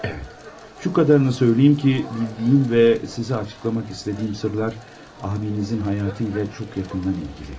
Şu qadarını söyləyim ki, bildiyin və sizə açıqlamaq istədiyim sırlar abinizin həyatıyla çox yaxından ilgili.